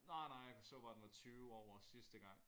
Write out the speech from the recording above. Nej nej jeg så bare den var 20 over sidste gang